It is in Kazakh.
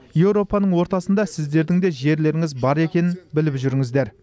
еуропаның ортасында сіздердің де жерлеріңіз бар екенін біліп жүріңіздер